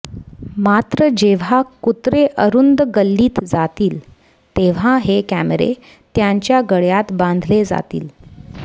मात्र जेव्हा कुत्रे अरुंद गल्लीत जातील तेव्हा हे कॅमेरे त्यांच्या गळ्यात बांधले जातील